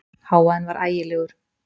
Hávaðinn var ægilegur.